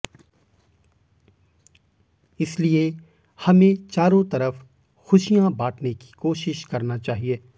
इसलिए हमें चारो तरफ खुशियां बांटने की कोशिश करना चाहिए